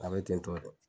A bɛ ten tɔ de